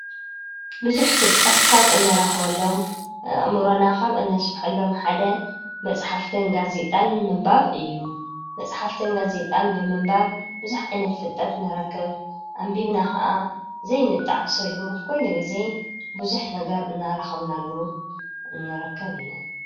ብዙሕ ፍልጠት ካብ እንረክበሎም፣ ኣእምሮና ካብ እነስፈሐሎም ሓደ መፅሓፍትን ጋዜጣን ምንባብ እዩ። መፅሓፍትን ጋዜጣን ብምንባብ ቡዙሕ ዓይነት ፍልጠት ንረክብ። ኣንቢብና ከዓ ዘይንጠዓሰሉ ኩሉ ግዜ ብዙሕ ነገር እናረከብናሉ ንርከብ እዪ።